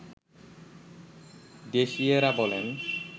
দেশীয়েরা বলেন